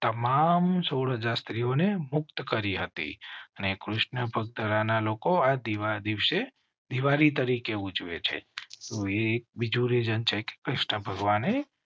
તમામ સોડ હાજર સ્ત્રીઓ ને મુક્ત કરી હતી અને કૃષ્ણ ભકતા ના લોકો આ દિવસે દિવાળી તરીકે ઉજવે છે તો એક બીજું રેસન છેકે કૃષ્ણ ભગવાન હૈ